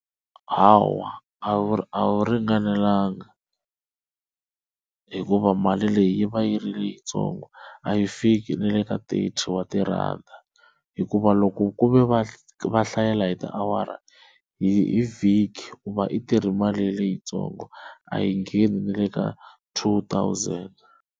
Hawa a wu a wu ringanelanga hikuva mali leyi yi va yi ri yitsongo a yi fiki na le ka thirty wa tirhanda hikuva loko ku ve va va hlayela hi tiawara hi vhiki u i tirhi mali leyitsongo a yi ngheni na le ka two thousand.